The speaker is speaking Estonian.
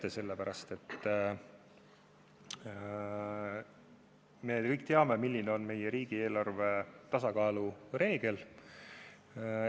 Seda sellepärast, et me kõik teame, milline on riigieelarve tasakaalu reegel.